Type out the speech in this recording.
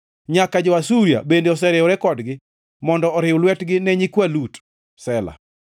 Nyaka jo-Asuria bende oseriwore kodgi mondo oriw lwetgi ne nyikwa Lut. Sela